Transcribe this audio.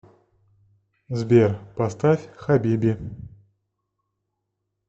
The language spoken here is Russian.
сбер поставь хабиби